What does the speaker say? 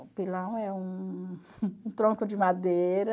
O pilão é um um tronco de madeira,